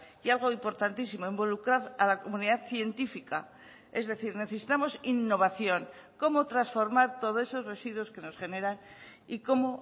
y algo importantísimo involucrar a la comunidad científica es decir necesitamos innovación cómo transformar todos esos residuos que nos generan y cómo